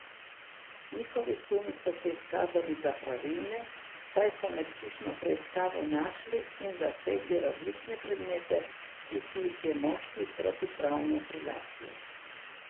Njihovi sumi so se izkazali za pravilne, saj so med hišno preiskavo našli in zasegli različne predmete, ki si jih je moški protipravno prilastil.